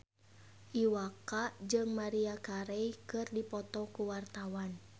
Iwa K jeung Maria Carey keur dipoto ku wartawan